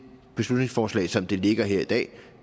beslutningsforslag som det ligger her i dag